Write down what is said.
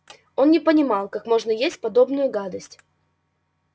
он не понимал как можно есть подобную гадость